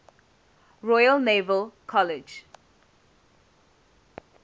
royal naval college